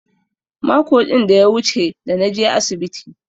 Mako din da ya wuche da naje asibiti.